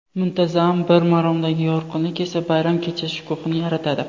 Muntazam bir maromdagi yorqinlik esa bayram kechasi shukuhini yaratadi.